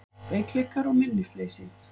Veikleikar og minnisleysi